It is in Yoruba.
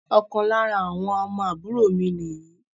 Ọ̀kan lára àwọn ọmọ àbúrò mi ni yìí